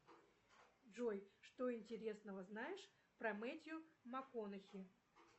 джой что интересного знаешь про мэтью макконахи